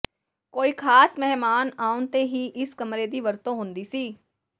ਕੋਈ ਖਾਸ ਮਹਿਮਾਨ ਆਉਣ ਤੇ ਹੀ ਇਸ ਕਮਰੇ ਦੀ ਵਰਤੋਂ ਹੁੰਦੀ ਸੀ